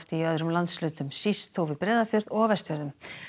í öðrum landshlutum síst þó við Breiðafjörð og á Vestfjörðum